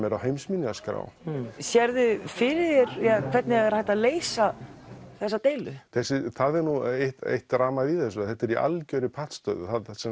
er á heimsminjaskrá sérðu fyrir þér hvernig hægt er að leysa þessa deilu það er nú eitt eitt dramað í þessu þetta er í algerri pattstöðu